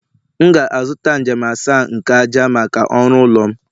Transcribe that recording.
M ga-azụta njem asaa nke ájá maka ọrụ ụlọ m